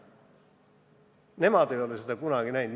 Nemad ei ole seda kunagi näinud.